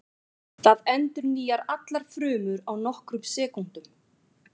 Það endurnýjar allar frumur á nokkrum sekúndum.